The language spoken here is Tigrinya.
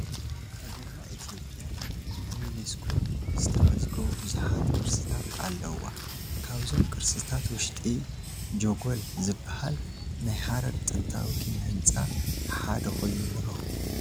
ሃገርና ኢትዮጵያ ኣብ ዩኔስኮ ዝተመዝገቡ ብዙሓት ቅርስታት ኣለዉዋ፡፡ ካብዞም ቅርስታታ ውሽጢ ጀጐል ዝበሃል ናይ ሃረር ጥንታዊ ኪነ ህንፃ ሓደ ኮይኑ ንረኽቦ፡፡